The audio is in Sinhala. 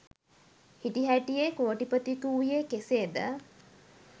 හිටිහැටියේ කෝටිපතියකු වූයේ කෙසේද